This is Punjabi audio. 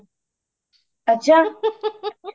ਅੱਛਾ